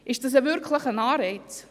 Ist das wirklich ein Anreiz?